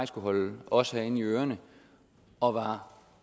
skal holde os herinde i ørerne og var